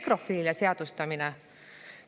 Nekrofiilia seadustamine?